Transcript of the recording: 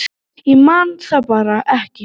Ég man það bara ekki